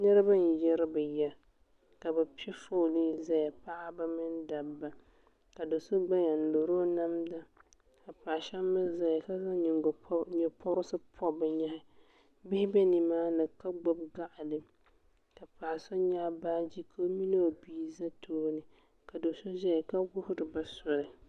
niriba n-yiri bɛ ya ka bɛ pe fooli n-zaya paɣaba mini dabba ka do' so gbaya n-lɔri o namda ka paɣ' shɛba mi zaya ka zaŋ nye' pɔbirisi pɔbi bɛ nyehi bihi be ni maa ni ka gbubi gaɣili ka paɣ' so nyaɣi baaji ka o mini o bia za tooni ka do' so ʒeya ka wuhiri ba soli.